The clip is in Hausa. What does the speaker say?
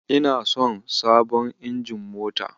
Ina son abon injin mota.